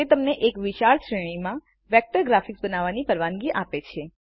તે તમને એક વિશાળ શ્રેણીમાં વેક્ટર ગ્રાફિક્સ બનાવવાની પરવાનગી આપે છે